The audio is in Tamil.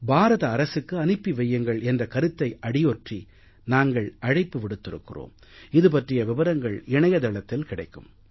பாரத அரசுக்கு அனுப்பி வையுங்கள் என்ற கருத்தை அடியொற்றி நாங்கள் அழைப்பு விடுத்திருக்கிறோம் இது பற்றிய விபரங்கள் இணையதளத்தில் கிடைக்கும்